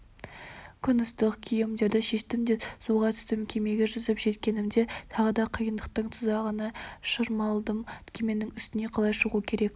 күн ыстық киімдерімді шештім де суға түстім кемеге жүзіп жеткенімде тағы да қиындықтың тұзағына шырмалдым кеменің үстіне қалай шығу керек